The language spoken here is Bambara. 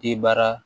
Debaara